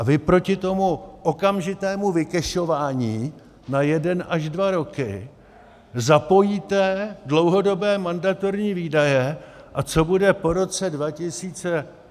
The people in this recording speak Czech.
A vy proti tomu okamžitému vykešování na jeden až dva roky zapojíte dlouhodobé mandatorní výdaje, a co bude po roce 2022, je vám úplně jedno.